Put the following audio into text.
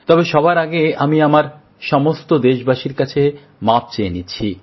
তবে সবার আগে আমি আমার সমস্ত দেশবাসীর কাছে মাপ চেয়ে নিচ্ছি